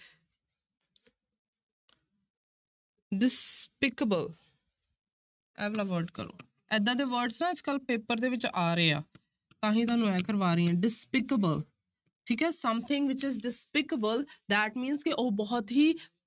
Despicable ਇਹ ਵਾਲਾ word ਕਰੋ ਏਦਾਂ ਦੇ word ਨਾ ਅੱਜ ਕੱਲ੍ਹ ਪੇਪਰ ਦੇ ਵਿੱਚ ਆ ਰਹੇ ਆ ਤਾਂ ਹੀ ਤੁਹਾਨੂੰ ਇਹ ਕਰਵਾ ਰਹੀ ਹਾਂ despicable ਠੀਕ ਹੈ something which is despicable that mean ਕਿ ਉਹ ਬਹੁਤ ਹੀ